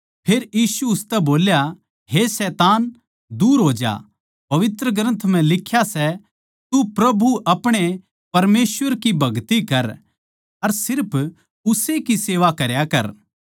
फेर यीशु उसतै बोल्या हे शैतान दूर हो ज्या पवित्र ग्रन्थ म्ह लिख्या सै तू प्रभु अपणे परमेसवर नै नमस्कार कर अर सिर्फ उस्से की भगति करया कर